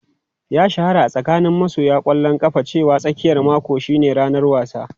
Ya shahara a tsakanin masoya ƙwallon kafa cewa tsakiyar mako shine ranar wasa.